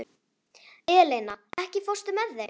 Eleina, ekki fórstu með þeim?